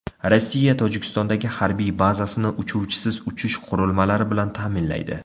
Rossiya Tojikistondagi harbiy bazasini uchuvchisiz uchish qurilmalari bilan ta’minlaydi.